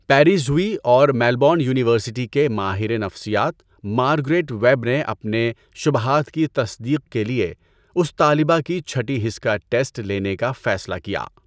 Peers Howie اور Melbourne university کے ماہر نفسیات مارگریٹ ویب نے اپنے شبہات کی تصدیق کے لیے اس طالبہ کی چهٹی حس کا ٹیسٹ لینے کا فیصلہ کیا۔